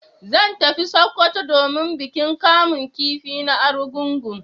Zan tafi sokoto domin bikin kamun kifi na arungugun